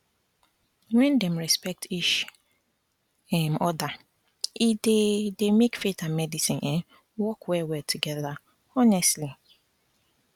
when dem respect each um other e dey dey make faith and medicine um work well well together honestly